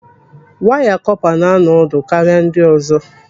Waya kọpa na-anọ ọdụ karịa ndị ọzọ.